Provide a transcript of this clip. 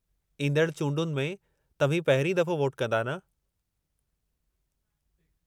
ईंदड़ चूंडुनि में तव्हीं पहिरियों दफ़ो वोटु कंदा न?